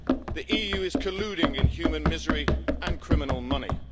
The EU is colluding in human misery and criminal money.